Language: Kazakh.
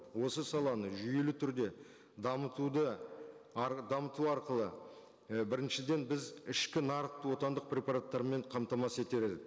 осы саланы жүйелі түрде дамытуды арғы дамыту арқылы і біріншіден біз ішкі нарықты отандық препараттармен қамтамасыз етер едік